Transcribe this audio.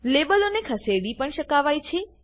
લેબલોને ખસેડી પણ શકાવાય છે